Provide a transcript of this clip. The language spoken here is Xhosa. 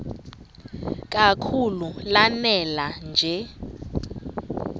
kakhulu lanela nje